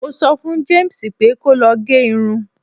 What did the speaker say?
mo so fún James pe ko lo ge Irun